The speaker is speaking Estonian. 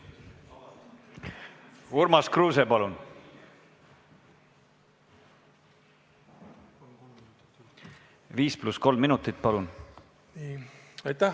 Urmas Kruuse, palun, 5 + 3 minutit!